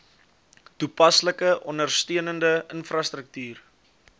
toepaslike ondersteunende infrastruktuur